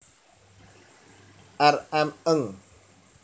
R M Ng